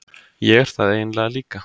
Ég er það eiginlega líka.